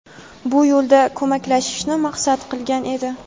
bu yo‘lda ko‘maklashishni maqsad qilgan edi.